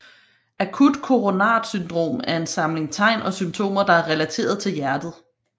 Akut koronart syndrom er en samling tegn og symptomer der er relateret til hjertet